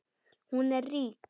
Hún er rík.